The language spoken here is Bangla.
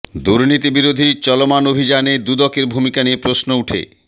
দুর্নীতি বিরোধী চলমান অভিযানে দুদকের ভূমিকা নিয়ে প্রশ্ন উঠে